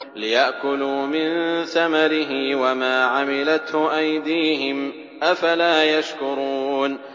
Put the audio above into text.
لِيَأْكُلُوا مِن ثَمَرِهِ وَمَا عَمِلَتْهُ أَيْدِيهِمْ ۖ أَفَلَا يَشْكُرُونَ